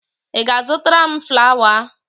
Ị ga-azụtara m flawa?